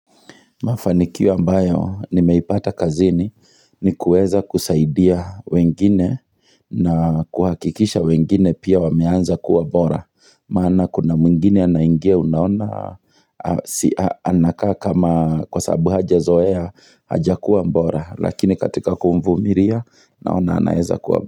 Mafanikio mbayo, nimeipata kazini ni kuweza kusaidia wengine na kuhakikisha wengine pia wameanza kuwa bora. Maana kuna mwngine anaingia unaona, anakaa kama kwa sababu haja zoea, haja kuwa mbora. Lakini katika kumvumiria, naona anaeza kuwa.